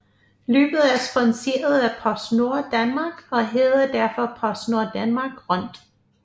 Løbet er sponsoreret af PostNord Danmark og hedder derfor PostNord Danmark Rundt